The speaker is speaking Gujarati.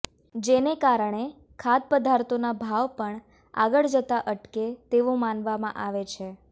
જેને કારણે ખાદ્ય પદાર્થોના ભાવ પણ આગળ જતા અટકે તેવું માનવામાં આવે છે